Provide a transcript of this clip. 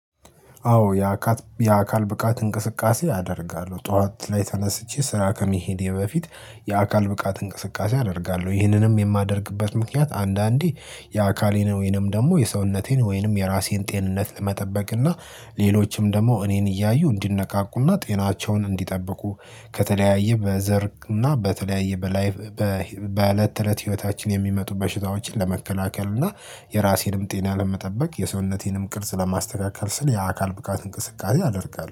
አዎ የአካል የአካል ብቃት እንቅስቃሴ አደርጋለሁ ጠዋት ላይ ተነስቼ ስራ ከመሄዴ በፊት የአካል ብቃት እንቅስቃሴ አደርጋለሁ። ይህንንም የማደርግበት ምክንያት አንዳንዴ የአካሌን ወይንም ደግሞ የሰውነቴን ወይንም የራሴን ጤንነት ለመጠበቅና ሌሎችም ደግሞ እኔን እያዩ እንዲነቃቁና ጤናቸውን እንዲጠብቁ። ከተለያዩ በዘር እና በተለያዩ በላይቭ በእለት ተእለት ህይወታችን የሚመጡ በሽታዎችን ለመከላከል እና የራሴንም ጤና ለመጠበቅ የሰውነቴንም ቅርጽ ለማስተካከል ስል የአካል ብቃት እንቅስቃሴ አደርጋለሁ